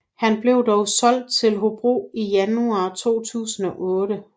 Han blev dog solgt til Hobro i januar 2008